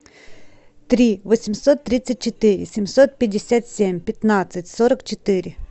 три восемьсот тридцать четыре семьсот пятьдесят семь пятнадцать сорок четыре